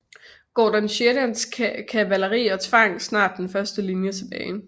Gordon Sheridans kavaleri og tvang snart den første linje tilbage